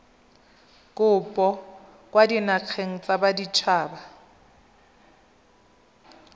kopo kwa dinageng tsa baditshaba